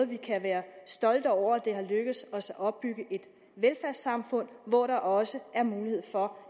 vi kan være stolte over at det er lykkedes os at opbygge et velfærdssamfund hvor der også er mulighed for